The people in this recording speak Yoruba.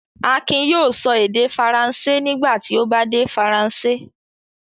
Akin yóò sọ èdè Faransé nígbà tí ó bá dé Faransé.